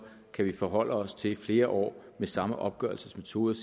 kan vi forholde os til flere år med samme opgørelsesmetode og